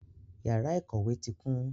Yara ikowe ti kun